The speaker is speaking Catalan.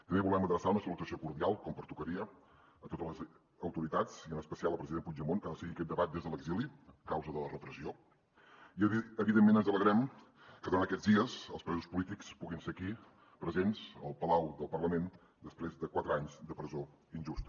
també volem adreçar una salutació cordial com pertocaria a totes les autoritats i en especial al president puigdemont que ha de seguir aquest debat des de l’exili a causa de la repressió i evidentment ens alegrem que durant aquests dies els presos polítics puguin ser aquí presents al palau del parlament després de quatre anys de presó injusta